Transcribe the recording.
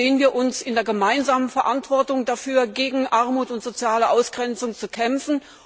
Sehen wir uns in der gemeinsamen Verantwortung dafür, gegen Armut und soziale Ausgrenzung zu kämpfen?